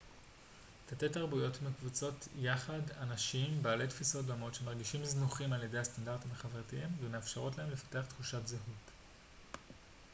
תתי-תרבויות מקבצות יחד אנשים בעלי תפיסות דומות שמרגישים זנוחים על ידי הסטנדרטים החברתיים ומאפשרות להם לפתח תחושת זהות